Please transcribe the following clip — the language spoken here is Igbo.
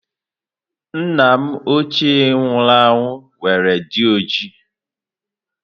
Nna ochie m nwụrụ anwụ nwere dị ojii.